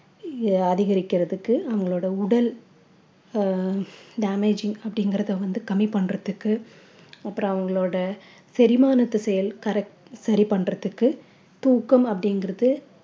அதிகரிக்கிறதுக்கு அவங்களுடைய உடல் அஹ் damaging அப்படிங்கறத வந்து கம்மி பண்றதுக்கு அப்புறம் அவங்களோட செரிமானத்த செயல் correct சரி பண்றதுக்கு தூக்கம் அப்படிங்கறது